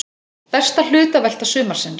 Besta hlutavelta sumarsins!